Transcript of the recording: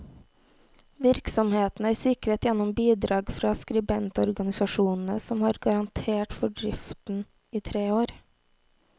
Virksomheten er sikret gjennom bidrag fra skribentorganisasjonene, som har garantert for driften i tre år.